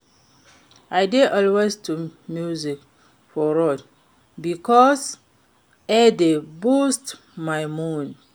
I dey always lis ten to music for road bikos e dey boost my mood.